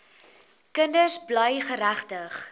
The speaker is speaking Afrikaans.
kinders bly geregtig